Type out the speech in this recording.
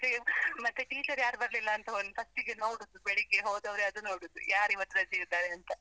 ಮತ್ತೆ ಟೀಚರ್ ಯಾರೂ ಬರ್ಲಿಲ್ಲ ಅಂತ ಒಂದ್ first ಗೆ ನೋಡುದು, ಬೆಳ್ಳಿಗ್ಗೆ ಹೋದವರೇ ಅದು ನೋಡೋದು, ಯಾರ್ ಇವತ್ತು ರಜೆ ಇದ್ದಾರೆ ಅಂತ.